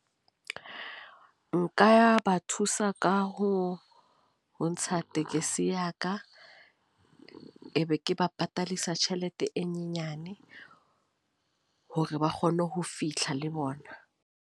Nka ba thusa ka ho, ho ntsha tekesi ya ka. E be ke ba patadisa tjhelete e nyenyane. Hore ba kgone ho fihla le bona.